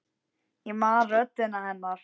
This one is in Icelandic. Ég man röddina hennar.